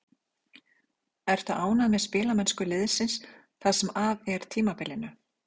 Ertu ánægð með spilamennsku liðsins það sem af er tímabilinu?